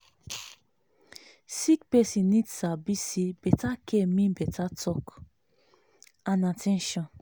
sick person need sabi say better care mean better talk and at ten tion.